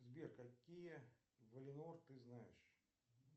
сбер какие валинор ты знаешь